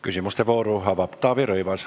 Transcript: Küsimuste vooru avab Taavi Rõivas.